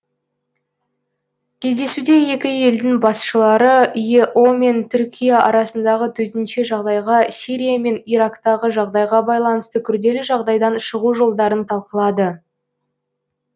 кездесуде екі елдің басшылары ео мен түркия арасындағы төтенше жағдайға сирия мен ирактағы жағдайға байланысты күрделі жағдайдан шығу жолдарын талқылады